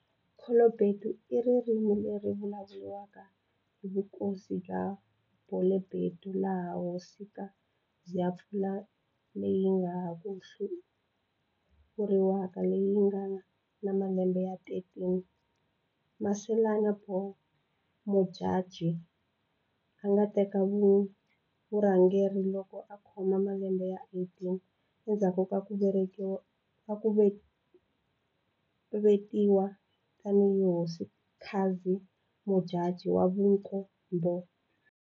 Khelobedu i ririmi leri ri vulavuriwaka hi vukosi bya Bolobedu laha Hosika zi ya Mpfula leyi ya ha ku hlawuriwaka leyi yi nga na malembe ya 13, Masalana bo Modjadji, a nga ta teka vurhangeri loko a khoma malembe ya 18, endzhaku ka ku vekiwa tanihi Hosikazi Modjadji wa Vunkombo.